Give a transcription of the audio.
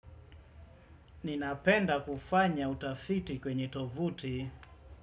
Ninapenda kufanya utafiti kwenye tovuti.